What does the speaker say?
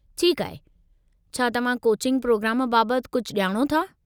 ठीकु आहे, छा तव्हां कोचिंग प्रोग्राम बाबतु कुझु ॼाणो था ?